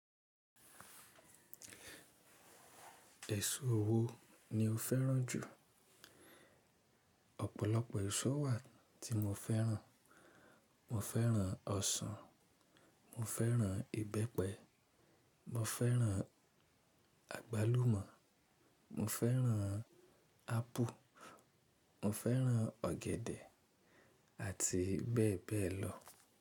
Ẹ̀ṣọ́ wo ni o fẹ́ràn jù? Ọ̀pọ̀lọpọ̀ ẹ̀ṣọ́ wà tí mo fẹ́ràn. Mo fẹ́ràn ọsàn, mo fẹ́ràn ìbẹ́pẹ, mo fẹ́ràn àgbálùmọ́, mo fẹ́ràn ápù, mo fẹ́ràn ọ̀gẹ̀dẹ̀ àti bẹ́ẹ̀ bẹ́ẹ̀ lọ.